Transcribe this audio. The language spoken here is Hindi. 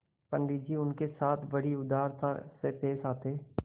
पंडित जी उनके साथ बड़ी उदारता से पेश आते